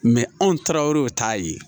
anw taara o t'a ye